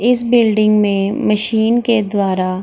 इस बिल्डिंग में मशीन के द्वारा --